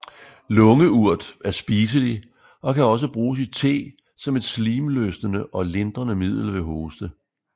Lungeurt er spiselig og kan også bruges i te som et slimløsende og lindrende middel ved hoste